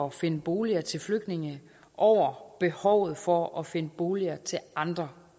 at finde boliger til flygtninge over behovet for at finde boliger til andre